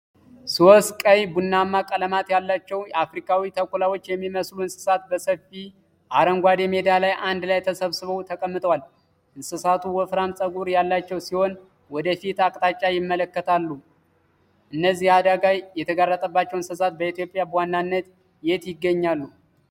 ሶስት ቀይ ቡናማ ቀለማት ያላቸው አፍሪካዊ ተኩላዎች የሚመስሉ እንስሳት በሰፊ አረንጓዴ ሜዳ ላይ አንድ ላይ ተሰብስበው ተቀምጠዋል። እንስሳቱ ወፍራም ጸጉር ያላቸው ሲሆን፣ ወደ ፊት አቅጣጫ ይመለከታሉ። እነዚህ አደጋ የተጋረጠባቸው እንስሳት በኢትዮጵያ በዋናነት የት ይገኛሉ?